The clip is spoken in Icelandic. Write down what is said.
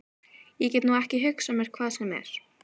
Ég get nú ekki hugsað mér hvað sem er.